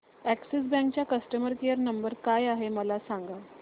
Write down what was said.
Axis bank चा customer care number काय आहे मला सांगा